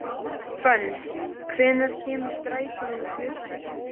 Fönn, hvenær kemur strætó númer fjörutíu og þrjú?